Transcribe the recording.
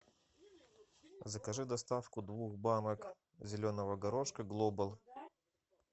закажи доставку двух банок зеленого горошка глобал